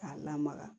K'a lamaga